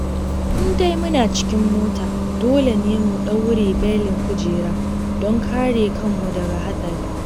In dai muna cikin mota, dole ne mu daure belin kujera don kare kanmu daga haɗari.